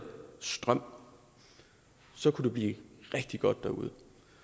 strøm så kunne det blive rigtig godt derude